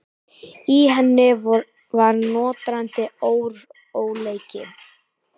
Í henni var nötrandi óróleiki.